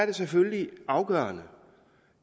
det selvfølgelig afgørende